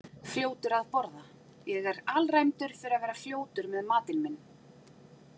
Fljótur að borða Ég er alræmdur fyrir að vera fljótur með matinn minn.